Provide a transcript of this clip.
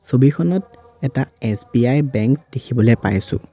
ছবিখনত এটা SBI bank দেখিবলৈ পাইছোঁ।